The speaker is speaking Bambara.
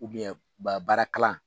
u ba baara kalan